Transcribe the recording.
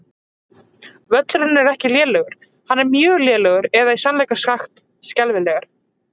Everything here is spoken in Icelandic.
Völlurinn er ekki lélegur, hann er mjög lélegur eða í sannleika sagt skelfilegur.